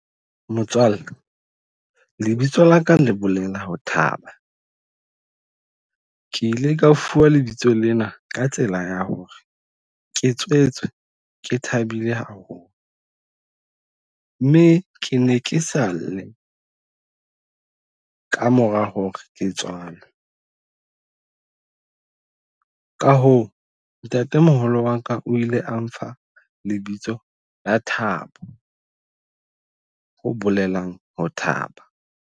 Motswalle lebitso la ka le bolela ho thaba. Ke ile ka fuwa lebitso lena ka tsela ya hore ke tswetswe ke thabile haholo mme ke ne ke sa lle ka mora hore ke tswalwe. Ka hoo ntate moholo wa ka o ile a mpha lebitso la Thabo. Ho bolelang ho thaba.